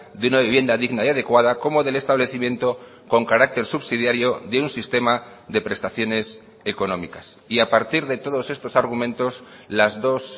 de una vivienda digna y adecuada como del establecimiento con carácter subsidiario de un sistema de prestaciones económicas y a partir de todos estos argumentos las dos